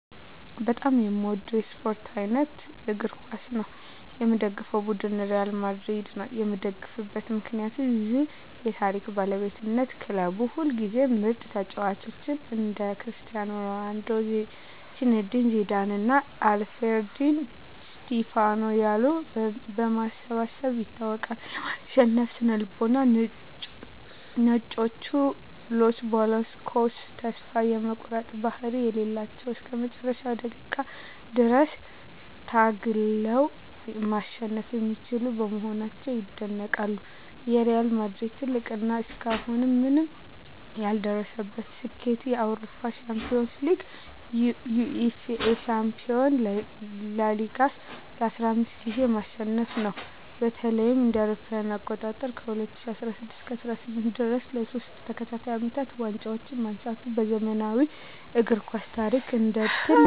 በጣም የምወደው የስፓርት አይነት እግር ኳስ ነው። የምደግፈው ቡድን ሪያል ማድሪድ ነው። የምደግፍበት ምክንያት ዠ የታሪክ ባለቤትነት ክለቡ ሁልጊዜም ምርጥ ተጫዋቾችን (እንደ ክርስቲያኖ ሮናልዶ፣ ዚነዲን ዚዳን እና አልፍሬዶ ዲ ስቲፋኖ ያሉ) በማሰባሰብ ይታወቃል። የማሸነፍ ስነ-ልቦና "ነጮቹ" (Los Blancos) ተስፋ የመቁረጥ ባህሪ የሌላቸው እና እስከ መጨረሻው ደቂቃ ድረስ ታግለው ማሸነፍ የሚችሉ በመሆናቸው ይደነቃሉ። የሪያል ማድሪድ ትልቁ እና እስካሁን ማንም ያልደረሰበት ስኬት የአውሮፓ ሻምፒዮንስ ሊግን (UEFA Champions League) ለ15 ጊዜያት ማሸነፉ ነው። በተለይም እ.ኤ.አ. ከ2016 እስከ 2018 ድረስ ለሶስት ተከታታይ አመታት ዋንጫውን ማንሳቱ በዘመናዊው እግር ኳስ ታሪክ እንደ ትልቅ ተአምር ይቆጠራል።